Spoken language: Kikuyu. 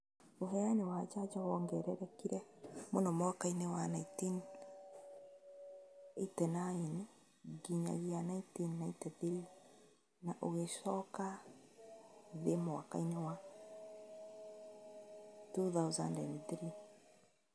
Ũheani wa njanjo wongererekire mũno mwaka inĩ wa 1989 nginyagia 1993 na ũgĩcoka thĩ mwaka inĩ wa 2003